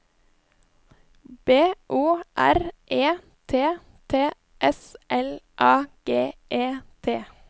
B O R E T T S L A G E T